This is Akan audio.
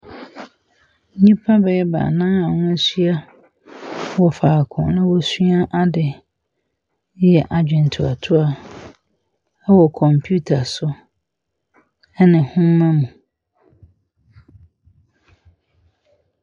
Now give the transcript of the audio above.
Nnipa bɛyɛ baanan aa w'ahyia wɔ faako na wosua ade Eyɛ adwen toatoa ɛwɔ komputer so ɛne nhoma mu. u.